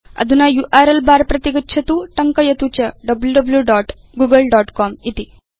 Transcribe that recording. अधुना URL bar प्रति गच्छतु टङ्कयतु च wwwgooglecom इति